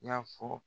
I y'a fɔ